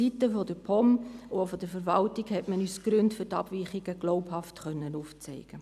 Seitens der POM und der Verwaltung konnte man uns die Gründe für die Abweichungen glaubhaft aufzeigen.